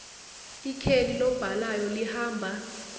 ikheli lobhalayo lihamba